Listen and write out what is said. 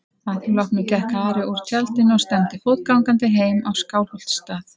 Að því loknu gekk Ari úr tjaldinu og stefndi fótgangandi heim á Skálholtsstað.